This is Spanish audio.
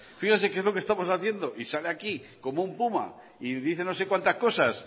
fíjese que es lo que estamos haciendo y sale aquí como un puma y dice no sé cuántas cosas